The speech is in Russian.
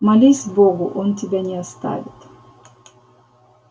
молись богу он тебя не оставит